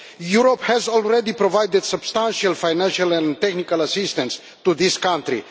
Europe has already provided substantial financial and technical assistance to this country.